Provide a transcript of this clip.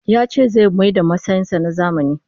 Ya ce zai mayar da masansa na zamani